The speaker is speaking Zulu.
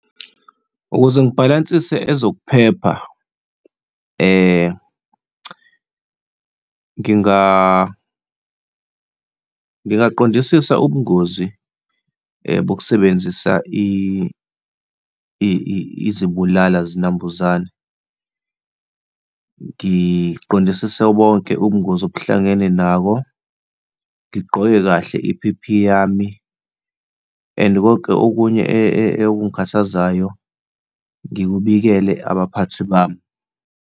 Ukuze ngibhalansise ezokuphepha, ngingaqondisisa ubungozi bokusebenzisa izibulala zinambuzane, ngiqondisise bonke ubungozi okuhlangene nabo, ngiqoke kahle i-P_P_E yami and konke okunye okungikhathazayo ngikubekele abaphathi bami.